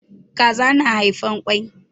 Kaza na haifan kwai.